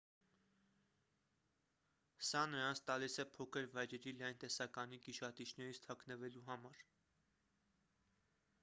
սա նրանց տալիս է փոքր վայրերի լայն տեսականի գիշատիչներից թաքնվելու համար